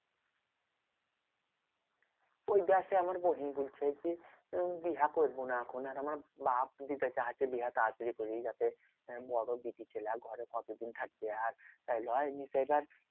ঐটা সেই আমার বহেন বলছে কি উম বিহা করবো না এখন। আর আমার বাপ্ দিতে চাইছে বিহা তাড়াতাড়ি করে। যাতে বড় বিটি ছেলে ঘরে কতদিন থাকবে আর? তাই লয় সেই এইবার